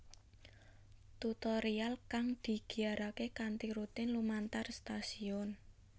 Tutorial kang digiyarake kanthi rutin lumantar stasiun